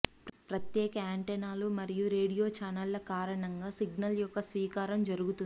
ప్రత్యేక యాంటెన్నాలు మరియు రేడియో ఛానళ్లు కారణంగా సిగ్నల్ యొక్క స్వీకారం జరుగుతుంది